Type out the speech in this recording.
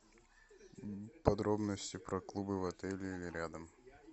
подробности про клубы в отеле или рядом